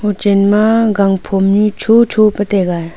hochen ma gang phom nyu chocho pe taiga.